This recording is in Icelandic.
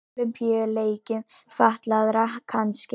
Ólympíuleikum fatlaðra kannski.